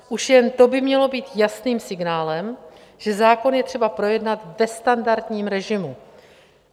Už jen to by mělo být jasným signálem, že zákon je třeba projednat ve standardním režimu.